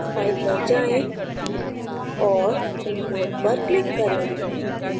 file पर जाएँ और import पर click करें